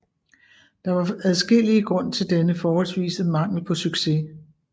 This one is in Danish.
Der var adskillige grund til denne forholdsvise mangel på succes